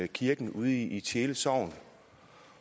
kirken ude i tjele sogn